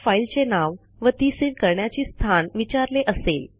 त्यात फाईलचे नाव व ती सेव्ह करण्याचे स्थान विचारले असेल